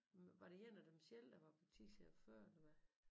Var det en af dem selv der var butikschef før eller hvad?